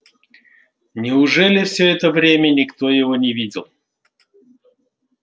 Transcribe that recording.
неужели всё это время никто его не видел